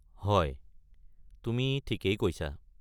হয়, তুমি ঠিকেই কৈছা।